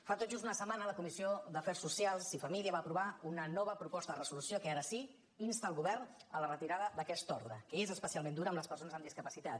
fa tot just una setmana la comissió d’afers socials i famílies va aprovar una nova proposta de resolució que ara sí insta el govern a la retirada d’aquesta ordre que és especialment dura amb les persones amb discapacitat